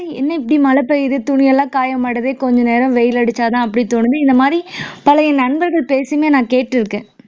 என்ன இப்படி மழை பெய்யுது துணி எல்லாம் காய மாட்டேங்குதே கொஞ்ச நேரம் வெயில் அடிச்சாதான் அப்படி தோணுது இந்த மாதிரி பழைய நண்பர்கள் பேசி நான் கேட்ருக்கேன்